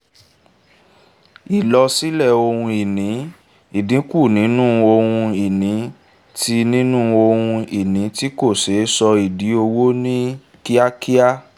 ìlọ sílẹ̀ ohun ìní: ìdínkù nínú ohun-ìní tí nínú ohun-ìní tí kò ṣeé sọ di owó ní kíákíá.